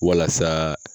Walasa